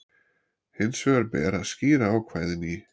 Hins vegar ber að skýra ákvæðin í